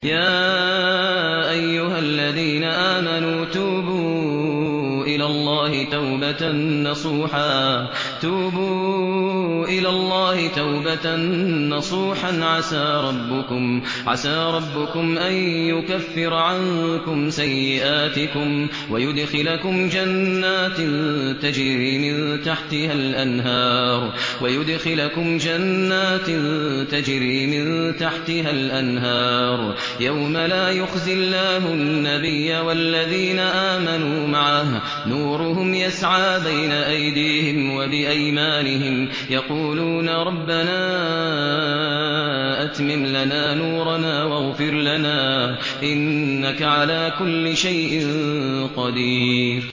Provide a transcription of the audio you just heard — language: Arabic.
يَا أَيُّهَا الَّذِينَ آمَنُوا تُوبُوا إِلَى اللَّهِ تَوْبَةً نَّصُوحًا عَسَىٰ رَبُّكُمْ أَن يُكَفِّرَ عَنكُمْ سَيِّئَاتِكُمْ وَيُدْخِلَكُمْ جَنَّاتٍ تَجْرِي مِن تَحْتِهَا الْأَنْهَارُ يَوْمَ لَا يُخْزِي اللَّهُ النَّبِيَّ وَالَّذِينَ آمَنُوا مَعَهُ ۖ نُورُهُمْ يَسْعَىٰ بَيْنَ أَيْدِيهِمْ وَبِأَيْمَانِهِمْ يَقُولُونَ رَبَّنَا أَتْمِمْ لَنَا نُورَنَا وَاغْفِرْ لَنَا ۖ إِنَّكَ عَلَىٰ كُلِّ شَيْءٍ قَدِيرٌ